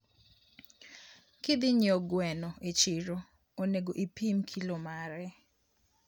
kidhinyieo gweno e chiro onego ipim kilo mare